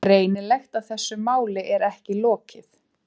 Greinilegt að þessu máli er ekki lokið.